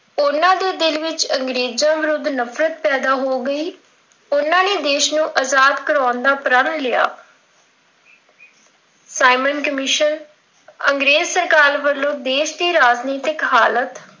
ਉਹਨਾਂ ਦੇ ਦਿਲ ਵਿੱਚ ਅੰਗਰੇਜ਼ਾਂ ਦੇ ਵਿੱਰੁਧ ਨਫ਼ਰਤ ਪੈਦਾਂ ਹੋ ਗਈ, ਉਹਨਾਂ ਨੇ ਦੇਸ਼ ਆਜ਼ਾਦ ਕਰਾਉਣ ਦਾ ਪ੍ਰਣ ਲਿਆ। ਸਾਈਂਮਨ ਕਮਿਸ਼ਨ, ਅੰਗਰੇਜ਼ ਸਰਕਾਰ ਵੱਲੋਂ ਦੇਸ਼ ਦੀ ਰਾਜਨਿਤਕ ਹਾਲਤ,